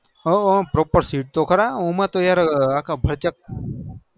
ઓ proper sit તો ખરા આમતો yaar અખા ફચક